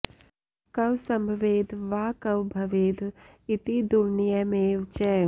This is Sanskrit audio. क्व सम्भवेद् वा क्व भवेद् इति दुर्नयमेव च